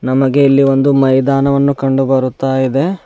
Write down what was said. ನಮಗೆ ಇಲ್ಲಿ ಒಂದು ಮೈದನವನ್ನು ಕಂಡು ಬರುತ್ತಾ ಇದೆ.